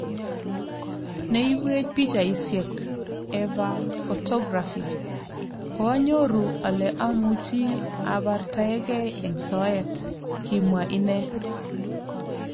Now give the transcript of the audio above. Ne ibwech pichaisyek ,Eva Photography "Koanyoru ole amuchi abartaegei eng soet ."kimwa inne